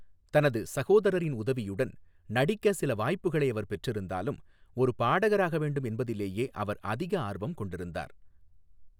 தனது சகோதரரின் உதவியுடன் நடிக்க சில வாய்ப்புகளை அவர் பெற்றிருந்தாலும், ஒரு பாடகராக வேண்டும் என்பதிலேயே அவர் அதிக ஆர்வம் கொண்டிருந்தார்.